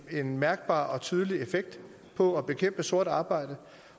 en mærkbar og tydelig effekt på at bekæmpe sort arbejde